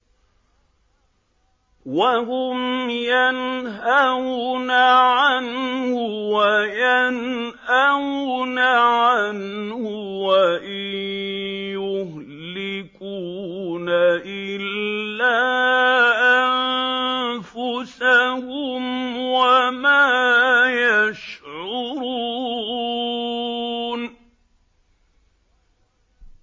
وَهُمْ يَنْهَوْنَ عَنْهُ وَيَنْأَوْنَ عَنْهُ ۖ وَإِن يُهْلِكُونَ إِلَّا أَنفُسَهُمْ وَمَا يَشْعُرُونَ